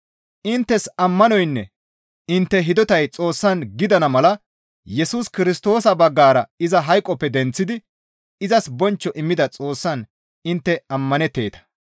Inttes ammanoynne intte hidotay Xoossan gidana mala Yesus Kirstoosa baggara iza hayqoppe denththidi izas bonchcho immida Xoossaan intte ammanetteeta.